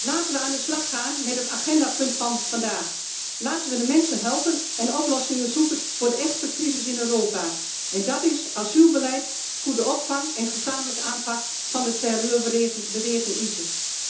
Laten we aan de slag gaan met het agendapunt van vandaag. Laten we de mensen helpen en oplossingen zoeken voor de echte crisis in Europa en dat is asielbeleid, goede opvang en gezamenlijke aanpak van de terreurbeweging ISIS.